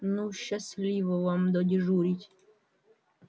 ну счастливо вам додежурить